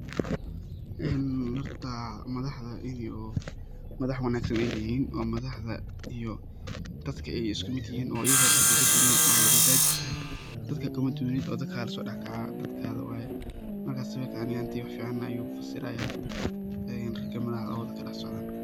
Horta madaxda ini oo madax wanagsan ay yihin iyo madaxda iyo dadka isku mid yihin oo igaba dadka ay kadubnen oo madada tajir tahay, dadka kamadub nid oo dadkaga laso dax kaca dadkaga waye marka sawir ani ahan teyda wax ficana ayu kafasiraya raga madaxda ah oo dadka dax socdan.